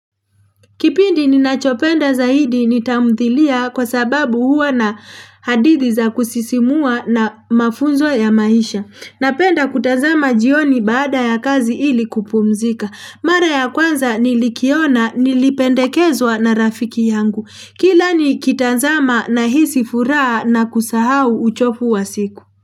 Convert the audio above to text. Kipindi ninachopenda zaidi ni tamthilia kwa sababu huwa na hadithi za kusisimua na mafunzo ya maisha. Napenda kutazama jioni baada ya kazi ili kupumzika. Mare ya kwanza nilikiona nilipendekezwa na rafiki yangu. Kila ni kitazama na hisi furaha na kusahau uchofu wa siku.